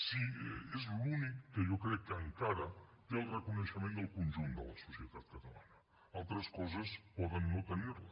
si és l’únic que jo crec que encara té el reconeixement del conjunt de la societat catalana altres coses poden no tenir lo